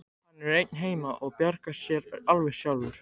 Hann er einn heima og bjargar sér alveg sjálfur.